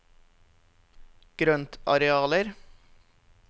grøntarealer